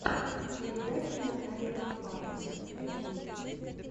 передача натальи гафаровой ютюб